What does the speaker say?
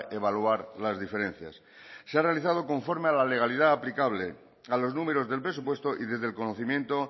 evaluar las diferencias se ha realizado conforme a la legalidad aplicable a los números del presupuesto y desde el conocimiento